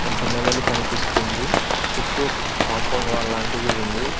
ఒక నెమలి కనిపిస్తుంది చుట్టూ కాంపౌండ్ వాల్ లాంటిది ఉంది.